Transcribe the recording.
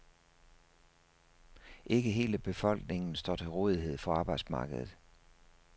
Ikke hele befolkningen står til rådighed for arbejdsmarkedet.